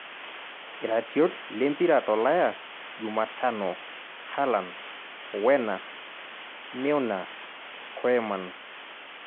iratiot lempira tolayaJumatano; haaland, werner, Meunier, KOeman